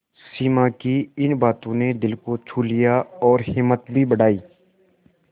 सिमा की इन बातों ने दिल को छू लिया और हिम्मत भी बढ़ाई